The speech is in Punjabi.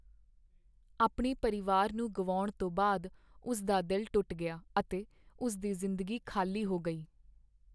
ਆਪਣੇ ਪਰਿਵਾਰ ਨੂੰ ਗੁਆਉਣ ਤੋਂ ਬਾਅਦ, ਉਸ ਦਾ ਦਿਲ ਟੁੱਟ ਗਿਆ ਅਤੇ ਉਸ ਦੀ ਜ਼ਿੰਦਗੀ ਖ਼ਾਲੀ ਹੋ ਗਈ।